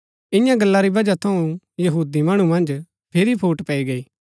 ईयां गला री बजह थऊँ यहूदी मणु मन्ज फिरी फूट पैई गई